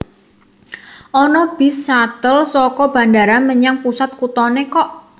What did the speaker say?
Ono bis shuttle soko bandara menyang pusat kutone kok